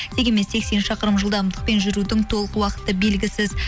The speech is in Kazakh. дегенмен сексен шақырым жылдамдықпен жүрудің толық уақыты белгісіз